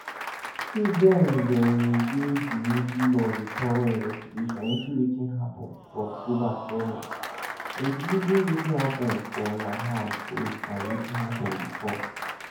say dem dey di middle of a “thorough investigation into wetin happun for october 7th including wetin happun for nahal oz and wetin happun bifor”.